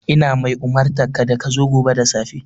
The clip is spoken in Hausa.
Ina mai umurtanka da ka zo gobe da safe!